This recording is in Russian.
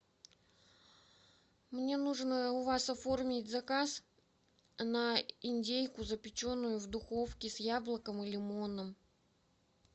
мне нужно у вас оформить заказ на индейку запеченную в духовке с яблоком и лимоном